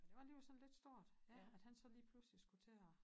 Det var alligevel sådan lidt stort ja at han så lige pludselig skulle til at